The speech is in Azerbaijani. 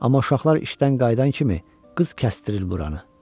Amma uşaqlar işdən qayıdan kimi qız kəsdirir buranı.